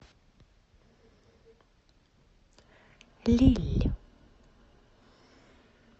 лилль